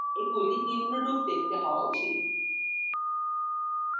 এগুলি নিম্নরূপ দেখতে হওয়া উচিত